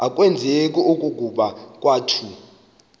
akwazeki okokuba kwakuthe